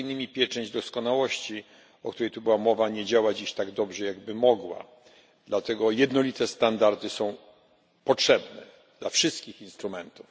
pieczęć doskonałości, o której tu była mowa, nie działa dziś tak dobrze, jak by mogła, dlatego jednolite standardy są potrzebne dla wszystkich instrumentów.